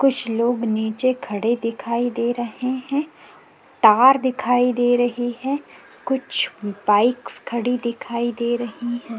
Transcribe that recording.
कुछ लोग नीचे खड़े दिखाई दे रहे हैं तार दिखाई दे रहे है कुछ बाइकस खड़ी दिखाई दे रही है।